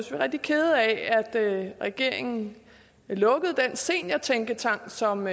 vi rigtig kede af at regeringen lukkede den seniortænketank som